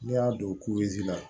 N'i y'a don la